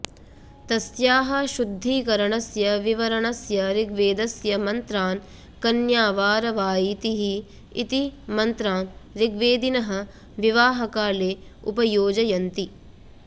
तस्याः शुद्धीकरणस्य विवरणस्य ऋग्वेदस्य मन्त्रान् कन्यावार वायितिः इति मन्त्रान् ऋग्वेदिनः विवाहकाले उपयोजयन्ति